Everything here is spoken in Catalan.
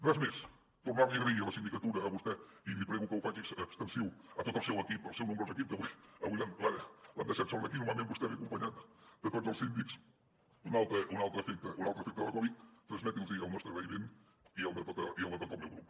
res més tornar li i agrair a la sindicatura a vostè i li prego que ho faci extensiu a tot el seu equip el seu nombrós equip que avui l’han deixat sol aquí normalment vostè ve acompanyat de tots els síndics un altre efecte de la covid transmeti’ls hi el nostre agraïment i el de tot el meu grup